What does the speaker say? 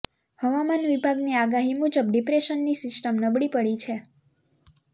હવામાન વિભાગની આગાહી મુજબ ડિપ્રેશનની સિસ્ટમ નબળી પડી છે